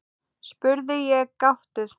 spurði ég gáttuð.